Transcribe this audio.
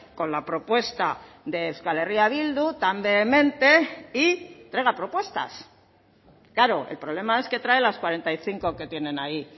con la propuesta de euskal herria bildu tan vehemente y traiga propuestas claro el problema es que trae las cuarenta y cinco que tienen ahí